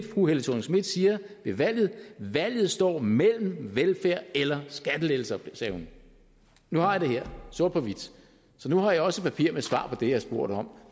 fru helle thorning schmidt siger ved valget valget står mellem velfærd eller skattelettelser det sagde hun nu har jeg det her sort på hvidt så nu har jeg også et papir med svar på det jeg spurgte om